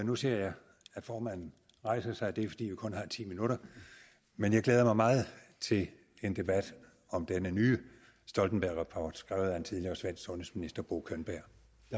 nu ser jeg at formanden rejser sig og det er fordi vi kun har ti minutter men jeg glæder mig meget til en debat om denne nye stoltenbergrapport skrevet af en tidligere svensk sundhedsminister bo könberg